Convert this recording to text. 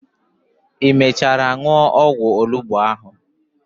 I mechara nuo ogwu onugbu ahu?